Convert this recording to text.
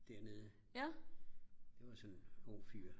dernede det var sådan en ung fyr